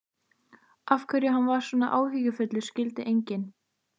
Af hverju hann var alltaf svona áhyggjufullur skildi enginn.